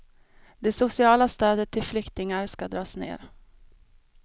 Det sociala stödet till flyktingar ska dras ner.